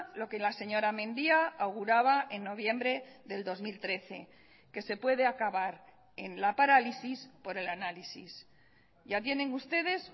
lo que la señora mendia auguraba en noviembre del dos mil trece que se puede acabar en la parálisis por el análisis ya tienen ustedes